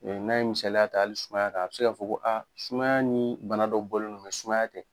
N'a ye misaliya ta hali sumaya kan a bɛ se k'a fɔ ko sumaya ni bana dɔ bɔlen do sumaya tɛ.